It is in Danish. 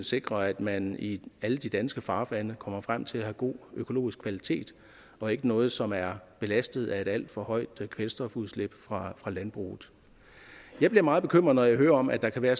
sikrer at man i alle de danske farvande kommer frem til at have god økologisk kvalitet og ikke noget som er belastet af et alt for højt kvælstofudslip fra landbruget jeg bliver meget bekymret når jeg hører om at der kan være